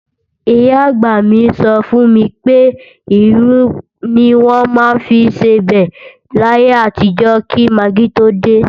Ìyá-àgbà mi sọ fún mi pé, irú ni wọ́n maá ń fi sebẹ̀ láyé àtijọ́ kí magí tó dé